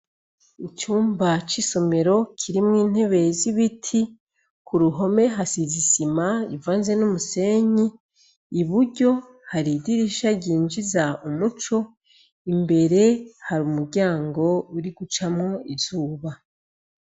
Icumba c'isomero kirimwo intebe z'ibiti ku ruhome hasize isima ivanze n'umusenyi i buryo hari idirisha ryinjiza umuco imbere hari umuryango uri gucamwo izuba.